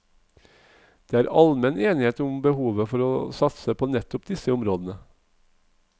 Det er almen enighet om behovet for å satse på nettopp disse områdene.